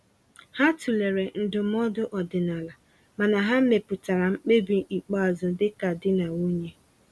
Ha tụlere ndụmọdụ ọdịnala, mana ha mepụtara mkpebi ikpeazụ dịka di na nwunye.